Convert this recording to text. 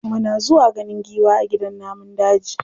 Muna zuwa ganin giwa a gidan namun daji.